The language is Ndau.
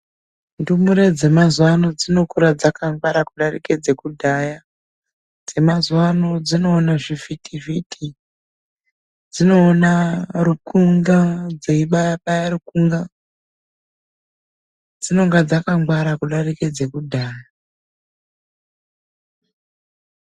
Ndumure dzemazuwa ano dzinokura dzakangwara kudarike dzekudhaya. Dzimazuwano dzinoona zvivhitivhiti, dzinoona rukunga dzeibaya baya rukunga. Dzinonga dzakangwara kudarike dzekudhaya.